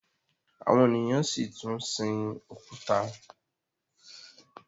àwọn ènìyàn si tún sìn òkúta